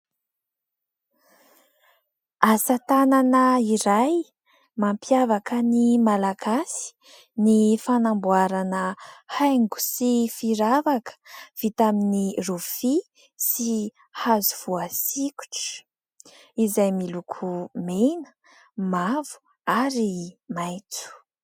Asa tanana iray mampiavaka ny malagasy ny fanamboarana haingo sy firavaka vita amin'ny rofia sy hazo voasikotra, izay miloko mena, mavo ary maitso.